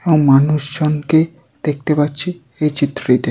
এবং মানুষ জনকে দেখতে পাচ্ছি এই চিত্রটিতে।